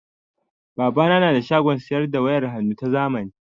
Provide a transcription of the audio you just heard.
Babana na da shagon saida da wayar hannnu ta zamani.